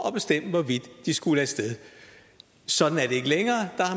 at bestemme hvorvidt de skulle af sted sådan er det ikke længere